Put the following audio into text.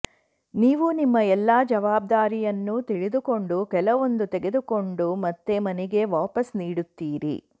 ನೀವು ನಿಮ್ಮ ಎಲ್ಲ ಜವಾಬ್ದಾರಿಯನ್ನು ತಿಳಿದುಕೊಂಡು ಕೆಲವೊಂದು ತೆಗೆದುಕೊಂಡು ಮತ್ತೆ ಮನೆಗೆ ವಾಪಸ್ ನೀಡುತ್ತೀರಿ